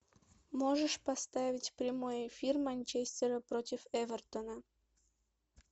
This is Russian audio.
можешь поставить прямой эфир манчестера против эвертона